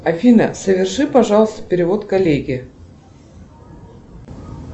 афина соверши пожалуйста перевод коллеге